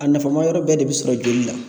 A nafamayɔrɔ bɛɛ de bi sɔrɔ joli la.